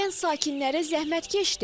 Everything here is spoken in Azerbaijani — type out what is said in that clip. Kənd sakinləri zəhmətkeşdir.